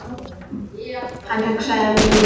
Hann hugsaði um Linju.